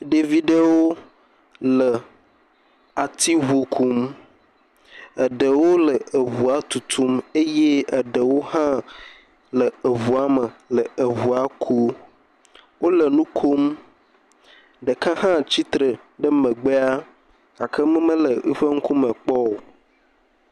Ɖevi ɖe le atiŋu kum. Eɖewo le ŋua tutum eye eɖewo le eŋua me le eŋua kuu. Wole nu kom. Ɖeka hã tsi tre ɖe megbea gake mi mele eƒe ŋkume kpɔ o.